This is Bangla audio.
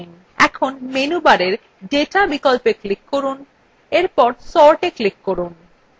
এখন menu bar data বিকল্পে click করে sortএ click করুন